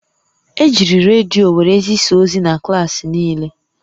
Ejiri redio were zisaa ozi na klaasị niile